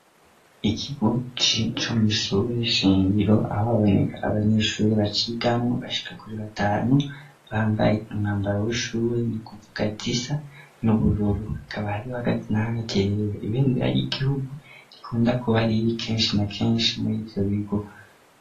Ikigo co mwishure shingiro aho baboneka abanyeshuri bacigamwo bashika kuri batanu bambaye umwambaro w'ishuri ni kuvuga zisa n'ubururu akaba hariho hagati na hagati rero ibembera ry'igihugu rikunda kuba riri kenshi na kenshi muri ivyobigo.